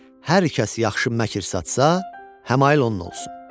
Hər kəs yaxşı məkər satsa, həmail onun olsun.